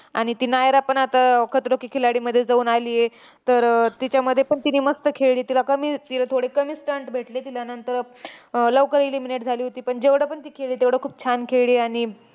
आणि ती नायरा पण आता खतरों के खिलाडीमध्ये जाऊन आलीये. तर, तिच्यामध्ये पण तिने मस्त खेळली. तिला कमी तिला थोडे कमी stunt भेटले तिला नंतर. अह लवकर eliminate झाली होती. पण जेवढं पण ती खेळली तेवढं खूप छान खेळली. आणि